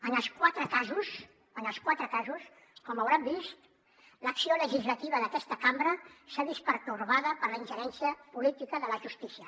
en els quatre casos com deuen haver vist l’acció legislativa d’aquesta cambra s’ha vist pertorbada per la ingerència política de la justícia